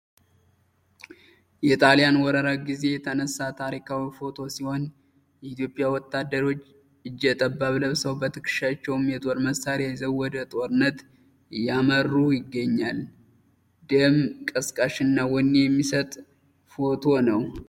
የጣሊያን ወረራ ግዜ የተነሣ ታሪካዊ ፎቶ ሲሆን የኢትዮጵያ ወታደሮች እጀጠባብ ለብሰው በትክሻቸውም የጦር መሳሪያ ይዘው ወደ ጦርነት እያመሩ ይገኛል። ደም ቀስቃሽና ወኔ የሚሰጥ ፎቶ ነው።